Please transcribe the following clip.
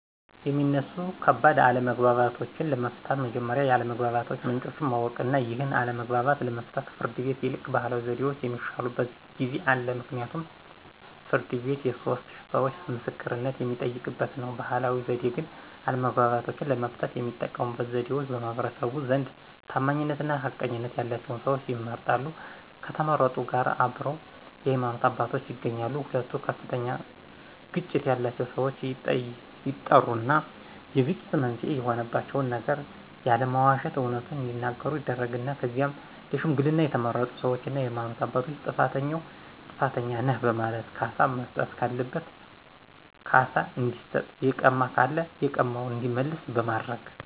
የሚነሱ ከባድ አለመግባባቶችን ለመፍታት መጀመሪያ የአለመግባባት ምንጮችን ማወቅ ነው ይህን አለመግባባት ለመፍታት ከፍርድ ቤት ይልቅ ባህላዊ ዘዴዎች የሚሻሉበት ጊዜ አለ ምክንያቱም ፍርድ ቤት የሶስት ሰዎቾ ምስክርነት የሚጠየቅበት ነው። በባህላዊ ዘዴ ግን አለመግባባቶችን ለመፍታት የሚጠቀሙበት ዘዴዎች በማህበረሰቡ ዘንድ ታማኝነትና ተቀባይነት ያላቸው ሰዎች ይመረጣሉ ከተመረጡት ጋር አብረው የሃይማኖት አባቶች ይገኛሉ ሁለቱ ከፍተኛ ግጭት ያላቸው ሰዎች ይጠሩና የግጭት መንስኤ የሆናቸውን ነገር ያለመዋሸት አውነቱን እዲናገሩ ይደረግና ከዚያም ለሽምግልና የተመረጡ ሰዎችና የሃይማኖት አባቶች ጥፋተኛውን ጥፋተኛ ነህ በማለት ካሳ መስጠት ካለበትም ካሳ እንዲሰጥ የቀማ ካለ የቀማውን እንዲመልስ በማድረግ